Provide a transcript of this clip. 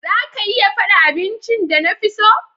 Za ka iya fada abincin da na fi so?